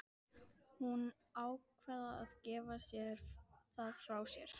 Ég stikaði upp á Ljósvallagötu í þungum þönkum.